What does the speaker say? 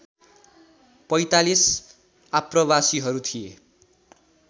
४५ आप्रवासीहरू थिए